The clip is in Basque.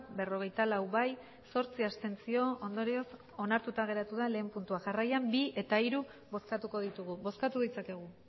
berrogeita lau bai zortzi abstentzio ondorioz onartuta geratu da lehen puntua jarraian bi eta hiru bozkatuko ditugu bozkatu ditzakegu